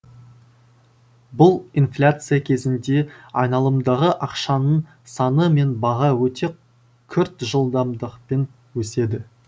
бұл инфляция кезінде айналымдағы ақшаның саны мен баға өте күрт жылдамдықпен өседі